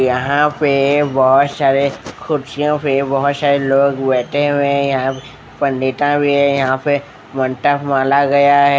यहाँ पे बहुत सारे कुर्सियों पे बहुत सारे लोंग लोंग बैठे हुए है यहाँ पे पंडिता भी है यहाँ पे मंत्र माला गया है ।